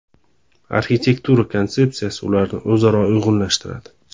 Arxitektura konsepsiyasi ularni o‘zaro uyg‘unlashtiradi.